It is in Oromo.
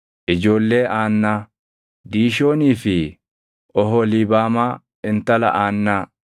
Ijoollee Aannaa: Diishoonii fi Oholiibaamaa intala Aannaa.